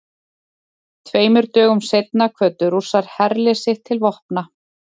Tveimur dögum seinna kvöddu Rússar herlið sitt til vopna.